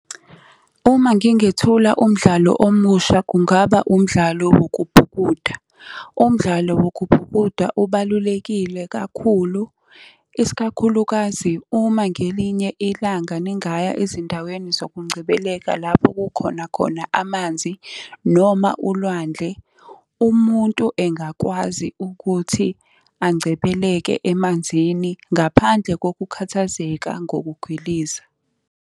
Uma ngingethula umdlalo omusha kungaba umdlalo wokubhukuda. Umdlalo wokubhukuda ubalulekile kakhulu, isikakhulukazi uma ngelinye ilanga ningaya ezindaweni zokungcebeleka lapho kukhona khona amanzi noma ulwandle, umuntu engakwazi ukuthi angcebeleke emanzini ngaphandle ngokukhathazeka ngokugwiliza.